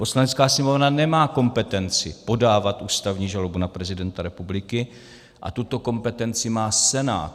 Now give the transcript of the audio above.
Poslanecká sněmovna nemá kompetenci podávat ústavní žalobu na prezidenta republiky a tuto kompetenci má Senát.